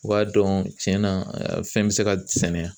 U b'a dɔn tiɲɛ na fɛn bɛ se ka sɛnɛ